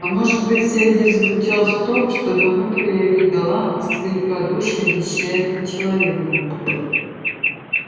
а может быть вся идея заключалась в том чтобы мы проявили галантность и великодушие защищая этого человека